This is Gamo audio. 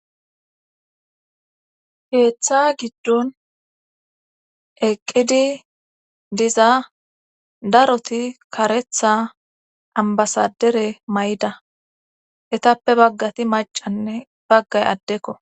Keeththa giddon eqqidi diza daroti karetha ambasadere mayida etappe baggati macanne baggay addekko